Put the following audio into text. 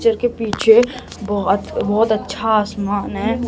Picture के पीछे बहोत-बहोत अच्छा आसमान है।